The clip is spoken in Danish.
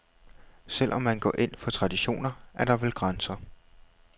Selv om man går ind for traditioner, er der vel grænser.